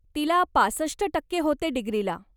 तिला पासष्ट टक्के होते डिग्रीला.